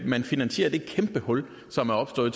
finansiere det kæmpehul som er opstået